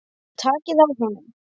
Takið á honum!